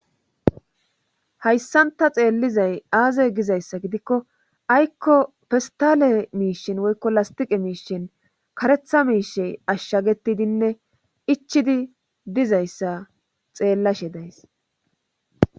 Hayssanta xeellizay aaze gizayssa gidikko aykko festale miishin woykko lastiqe miishin karetha miishey ashshagetidinne ichidi dizayssa xeellashe days